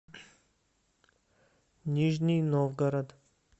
нижний новгород